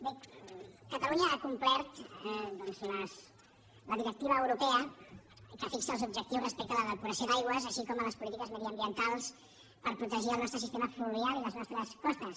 bé catalunya ha complert la directiva europea que fixa els objectius respecte a la depuració d’aigües així com les polítiques mediambientals per protegir el nostre sistema fluvial i els nostres costes